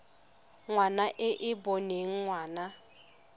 ngwana e e boneng ngwana